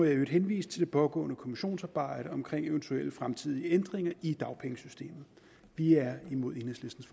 i øvrigt henvise til det pågående kommissionsarbejde om eventuelle fremtidige ændringer i dagpengesystemet vi er imod enhedslistens